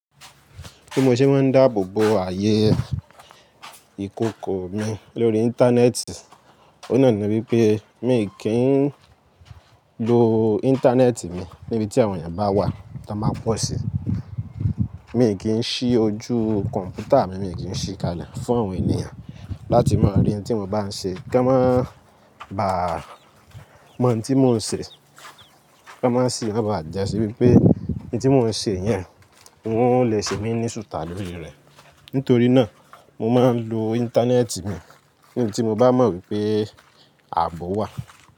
Bí mo ṣe máa ń dáàbò bo ààyè ìkòkò mi lórí Íńtánẹ́ẹ̀tì, ó náà ni wípé mi kì í ń lo Íńtánẹ́ẹ̀tì mi níbi tí àwọn èèyàn bá wà tán bá pọ̀ sí. Mi kì í ṣí ojú kọ̀m̀pútà mi, mi kì í ṣí kalẹ̀ fún àwọn ènìyàn láti máa rí tí mo bá ń ṣe kí wọ́n máa bà mọ̀ ohun tí mò ń ṣe, kí wọ́n sì máa bà jẹ́ ṣí wípé ohun tí mò ń ṣe yẹn, wọn lè ṣe mí ní sútà lórí rẹ̀. Nítorí náà, mo máa ń lo Íńtánẹ́ẹ̀tì mi níbi tí mo bá mọ̀ wípé ààbò wà.